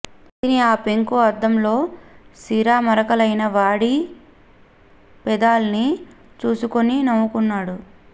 చేతిని ఆ పెంకు అద్దంలో సిరా మరకలైన వాడి పెదాల్ని చూసుకుని నవ్వుకున్నాడు